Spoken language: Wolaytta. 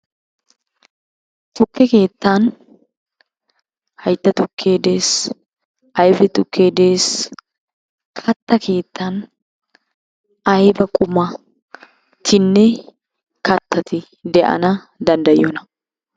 Tukke keettan hayitta tukkee des, ayife tukke des. Katta keettan ayiba qumatinne kattati de'iyona?